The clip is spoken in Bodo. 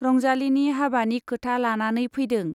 रंजालीनि हाबानि खोथा लानानै फैदों।